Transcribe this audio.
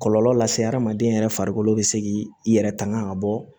Kɔlɔlɔ lase hadamaden yɛrɛ farikolo bɛ se k'i yɛrɛ tanga ka bɔ